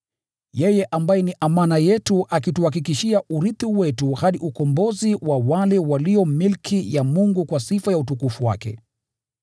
yeye ambaye ni amana yetu akituhakikishia urithi wetu hadi ukombozi wa wale walio milki ya Mungu kwa sifa ya utukufu wake.